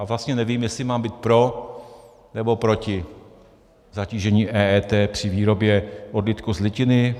A vlastně nevím, jestli mám být pro, nebo proti zatížení EET při výrobě odlitku z litiny.